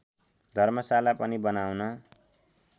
धर्मशाला पनि बनाउन